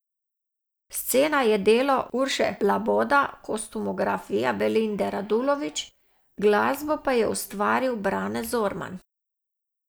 Scena je delo Urše Laboda, kostumografija Belinde Radulović, glasbo pa je ustvaril Brane Zorman.